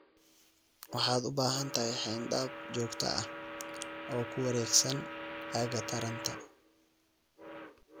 Waxaad u baahan tahay xayndaab joogto ah oo ku wareegsan aagga taranta.